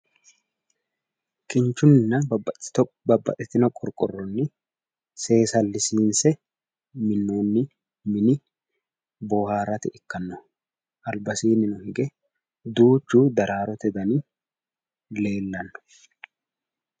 Kinchunninna babbaxitino qorqorronni seesallisiinse minnonni mini bohaarate ikkannoha. albasiinni hige duuchu daraarote dani leellanno.